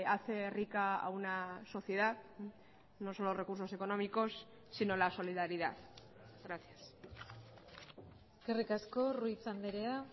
hace rica a una sociedad no son los recursos económicos sino la solidaridad gracias eskerrik asko ruiz andrea